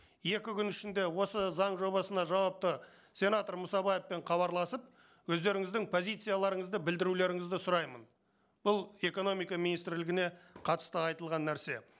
екі күн ішінде осы заң жобасына жауапты сенатор мұсабаевпен хабарласып өздеріңіздің позицияларыңызды білдірулеріңізді сұраймын бұл экономика министрлігіне қатысты айтылған нәрсе